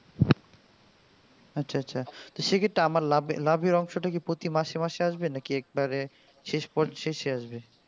আচ্ছা আচ্ছা সেক্ষেত্রে আমার লাভের লাভের অংশটা প্রতি মাসে মাসে আসবে নাকি একবারে শেষ পর শেষে আসবে?